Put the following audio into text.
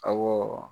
Awɔ